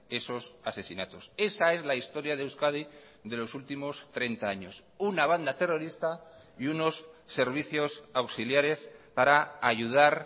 esos asesinatos esa es la historia de euskadi de los últimos treinta años una banda terrorista y unos servicios auxiliares para ayudar